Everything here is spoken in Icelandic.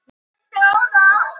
Hestakerra slitnaði frá bíl